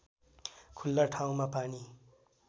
खुल्ला ठाउँमा पानी